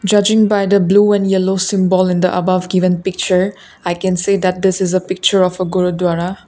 church in bind in a blue and yellow symbol in the above given picture i can say that this is a picture of guru dwara.